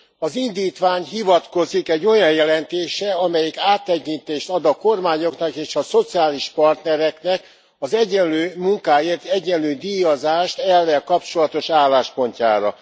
Az indítvány hivatkozik egy olyan jelentésre, amelyik áttekintést ad a kormányoknak és a szociális partnereknek az egyenlő munkáért egyenlő díjazást elvvel kapcsolatos álláspontjára.